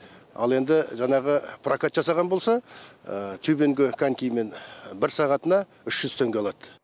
ал енді жаңағы прокат жасаған болса тюбингі конькимен бір сағатына үш жүз теңге алады